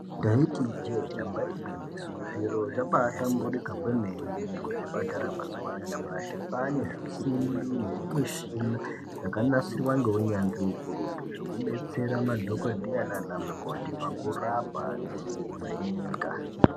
Ndaiti ijee damba igwinyiso zviro zvabaahlamburika kwemene kuzvipatara mazuwa anyamashi kwaane zvisimbi nezvimishina zvakanasirwa ngeunyanzvi ukurutu zvekudetsera madhokodheya nana mukoti pakurapa nekuvheneka.